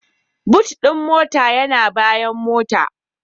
"Boot" din mota yana bayan motar.